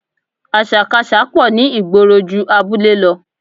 Àṣàkaṣà pọ̀ ní ìgboro ju abúlé lọ